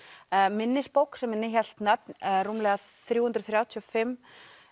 minnisbók sem innihélt nöfn rúmlega þrjú hundruð þrjátíu og fimm